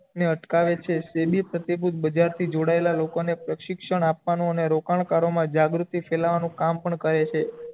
ને અટકાવે છે તે ભી ફતેહપુર બજાર થી જોડાયેલા લોકો ને શિક્ષણ આપવાનું અને રોકાણ કાર્ય મા જાગૃતિ ફેલાવાનું કામ પણ કરે છે